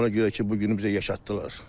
Ona görə ki, bu günü bizə yaşatdılar.